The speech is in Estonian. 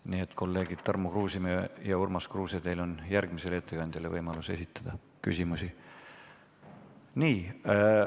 Nii et kolleegid Tarmo Kruusimäe ja Urmas Kruuse, teil on võimalik esitada küsimusi järgmisele ettekandjale.